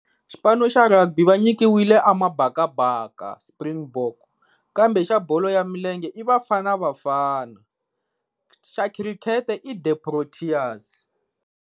Xipano xa Rugby va nyikiwile Mabakaba Springbok kambe xa bolo ya milenge i Bafana Bafana xa Cricket The Proteas.